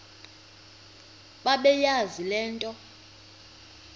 bebeyazi le nto